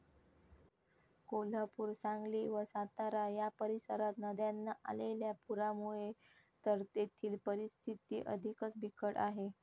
कोल्हापूर, सांगली व सातारा या परिसरात नद्यांना आलेल्या पुरामुळे तर तेथील परिस्थिती अधिकच बिकट आहे.